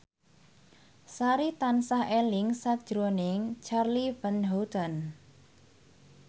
Sari tansah eling sakjroning Charly Van Houten